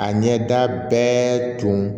A ɲɛda bɛɛ tun